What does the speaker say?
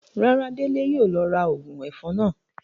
Rárá, Dele yóò lọ ra óogun èfọn náa.